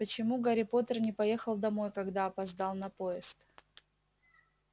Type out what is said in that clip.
почему гарри поттер не поехал домой когда опоздал на поезд